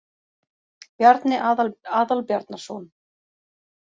Bjarni Aðalbjarnarson.